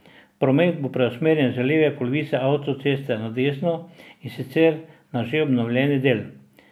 Promet bo preusmerjen z leve polovice avtoceste na desno, in sicer na že obnovljeni del.